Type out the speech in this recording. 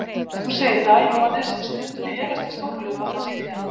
Þú segir það, Jóhannes, en stundum efast ég stórlega um að það sé rétt.